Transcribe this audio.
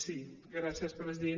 sí gràcies president